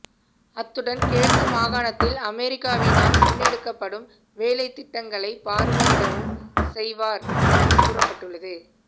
அத்துடன் கிழக்கு மாகாணத்தில் அமெரிக்காவினால் முன்னெடுக்கப்படும் வேலைத்திட்டங்களை பார்வையிடவும் செய்வார் என்று கூறப்பட்டுள்ளது